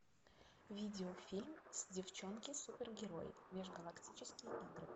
видеофильм с девчонки супергерои межгалактические игры